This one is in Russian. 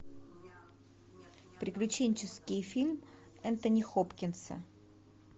приключенческий фильм энтони хопкинса